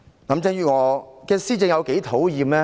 林鄭月娥的施政有多討厭？